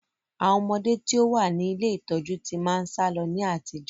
Àwọn ọmọde tí ó wá ní ilé ìtọ́jú tí máa ń sálọ ní àtijọ́